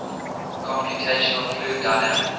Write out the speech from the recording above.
computational fluid dynamics